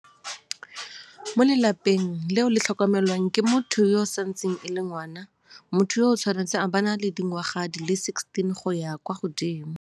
Mo lelapa leo le tlhokomelwang ke motho yo e santseng e le ngwana, motho yoo o tshwanetse a bo a na le dingwaga di le 16 go ya kwa godimo.